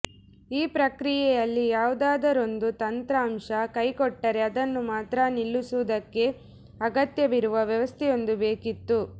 ಈ ಪ್ರಕ್ರಿಯೆಯಲ್ಲಿ ಯಾವುದಾದರೊಂದು ತಂತ್ರಾಂಶ ಕೈ ಕೊಟ್ಟರೆ ಅದನ್ನು ಮಾತ್ರ ನಿಲ್ಲಿಸುವುದಕ್ಕೆ ಅಗತ್ಯವಿರುವ ವ್ಯವಸ್ಥೆಯೊಂದು ಬೇಕಿತ್ತು